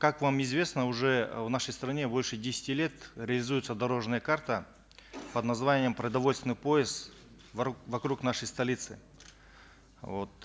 как вам известно уже в нашей стране больше десяти лет реализуется дорожная карта под названием продовольственный пояс вокруг нашей столицы вот